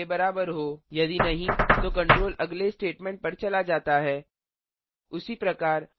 यदि नहीं तो control अगले statement पर चला जाता है